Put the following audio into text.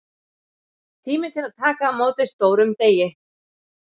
Tími til að taka á móti stórum degi.